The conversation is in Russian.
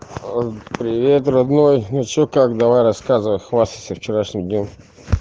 привет родной ну что как давай рассказывай хвастайся вчерашним днём